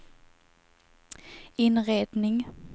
inredning